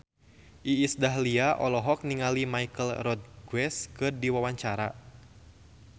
Iis Dahlia olohok ningali Michelle Rodriguez keur diwawancara